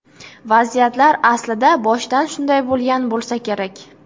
Vaziyat aslida boshidan shunday bo‘lgan bo‘lsa kerak.